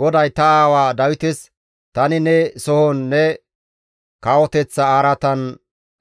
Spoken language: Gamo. GODAY ta aawa Dawites, ‹Tani ne sohon ne kawoteththa araatan